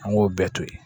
An k'o bɛɛ to yen